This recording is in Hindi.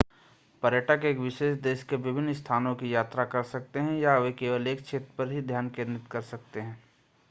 पर्यटक एक विशेष देश के विभिन्न स्थानों की यात्रा कर सकते हैं या वे केवल एक क्षेत्र पर ध्यान केंद्रित कर सकते हैं